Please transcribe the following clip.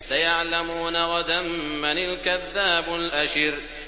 سَيَعْلَمُونَ غَدًا مَّنِ الْكَذَّابُ الْأَشِرُ